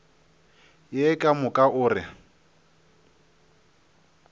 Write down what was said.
ye ka moka o re